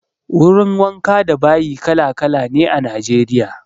Wurin wanka da bayi kala-kala ne a Najeriya.